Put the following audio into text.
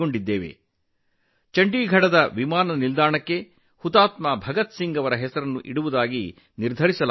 ಇದೀಗ ಚಂಡೀಗಢ ವಿಮಾನ ನಿಲ್ದಾಣಕ್ಕೆ ಶಹೀದ್ ಭಗತ್ ಸಿಂಗ್ ಹೆಸರಿಡಲು ನಿರ್ಧರಿಸಲಾಗಿದೆ